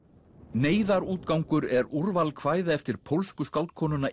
neyðarútgangur er úrval kvæða eftir pólsku skáldkonuna